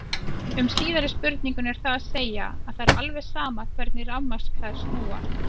Um síðari spurninguna er það að segja að það er alveg sama hvernig rafmagnsklær snúa.